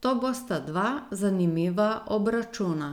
to bosta dva zanimiva obračuna.